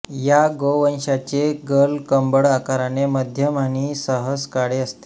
या गोवंशाचे गलकंबळ आकाराने मध्यम आणि सहसा काळे असते